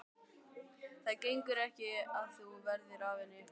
Það gengur ekki að þú verðir af henni.